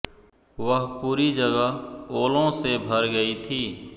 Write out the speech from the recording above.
वह पूरी जगह ओलों से भर गई थी